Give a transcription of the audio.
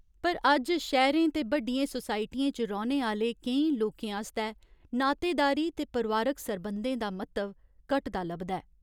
पर अज्ज शैह्‌रें ते बड्डियें सोसाइटियें च रौह्ने आह्‌ले केईं लोकें आस्तै नातेदारी ते परोआरिक सरबंधें दा म्हत्तव घटदा लभदा ऐ।